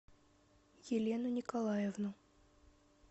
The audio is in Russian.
елену николаевну